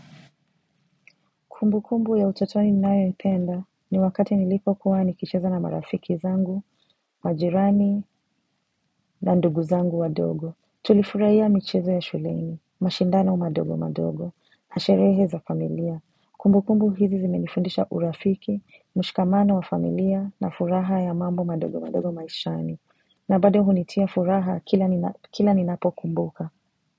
Kumbukumbu ya utotoni ninayoipenda ni wakati nilipokuwa nikicheza na marafiki zangu, majirani na ndugu zangu wa dogo. Tulifurahia michizo ya shuleni, mashindano madogo madogo, na sherehe za familia. Kumbukumbu hizi zimenifundisha urafiki, mshikamano wa familia na furaha ya mambo madogo madogo maishani. Na bado hunitia furaha kila nina kila ninapo kumbuka.